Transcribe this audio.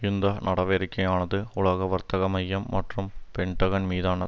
இந்த நடவடிக்கையானது உலக வர்த்தக மையம் மற்றும் பென்டகன் மீதான